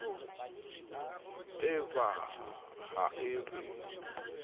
e ba ha e be